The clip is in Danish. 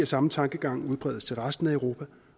samme tankegang udbredes til resten af europa